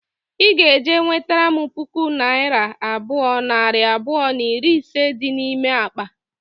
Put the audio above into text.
I ga-eje nwetara m puku naira abụọ, nari abụọ na iri ise dị n'ime akpa